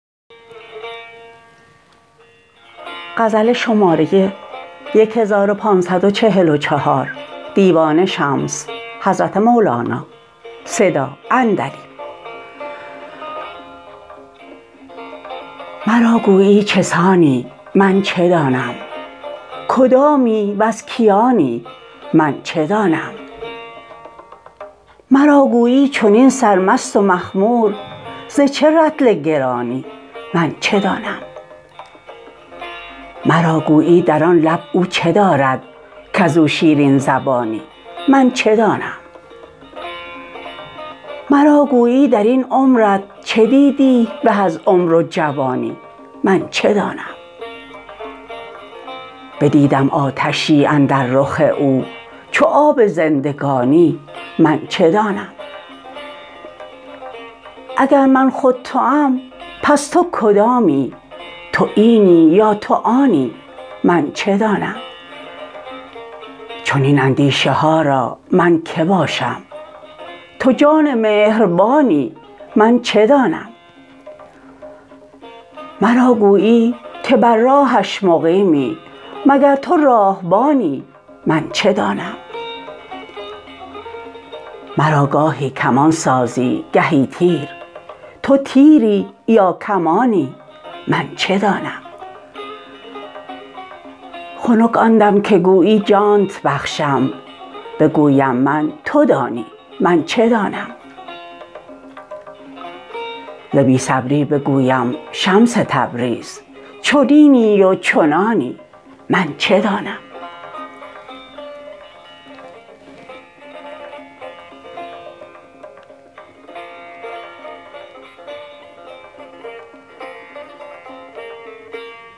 مرا گویی چه سانی من چه دانم کدامی وز کیانی من چه دانم مرا گویی چنین سرمست و مخمور ز چه رطل گرانی من چه دانم مرا گویی در آن لب او چه دارد کز او شیرین زبانی من چه دانم مرا گویی در این عمرت چه دیدی به از عمر و جوانی من چه دانم بدیدم آتشی اندر رخ او چو آب زندگانی من چه دانم اگر من خود توام پس تو کدامی تو اینی یا تو آنی من چه دانم چنین اندیشه ها را من کی باشم تو جان مهربانی من چه دانم مرا گویی که بر راهش مقیمی مگر تو راهبانی من چه دانم مرا گاهی کمان سازی گهی تیر تو تیری یا کمانی من چه دانم خنک آن دم که گویی جانت بخشم بگویم من تو دانی من چه دانم ز بی صبری بگویم شمس تبریز چنینی و چنانی من چه دانم